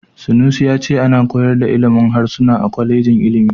Sanusi ya ce ana koyar da ilimin harsuna a kwalejin ilimi.